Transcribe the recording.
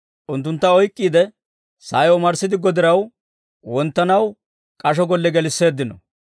Unttuntta oyk'k'iide, sa'ay omarssidiggo diraw wonttanaw k'asho golle gelisseeddino.